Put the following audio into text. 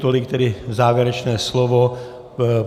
Tolik tedy závěrečné slovo.